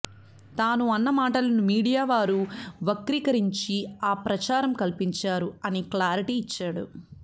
తాను అన్న మాటలను మీడియా వారు వక్రీకరించి ఆ ప్రచారం కల్పించారు అని క్లారిటీ ఇచ్చాడు